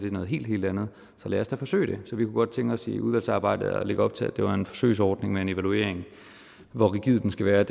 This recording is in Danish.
er noget helt helt andet så lad os da forsøge det så vi kunne godt tænke os i udvalgsarbejdet at lægge op til at det var en forsøgsordning med en evaluering hvor rigid den skal være